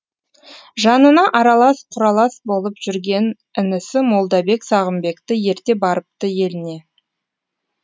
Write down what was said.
жанына аралас құралас болып жүрген інісі молдабек сағымбекті ерте барыпты еліне